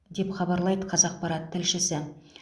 деп хабарлайды қазақпарат тілшісі